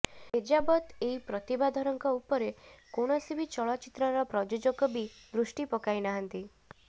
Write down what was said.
ଏଯାବତ୍ ଏଇ ପ୍ରତିଭାଧରଙ୍କ ଉପରେ କୌଣସି ବି ଚଳଚ୍ଚିତ୍ରର ପ୍ରଯୋଜକ ବି ଦୃଷ୍ଟି ପକାଇ ନାହାନ୍ତି